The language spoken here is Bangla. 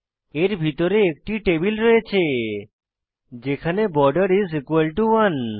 এর ভিতরে একটি টেবিল রয়েছে যেখানে বর্ডের 1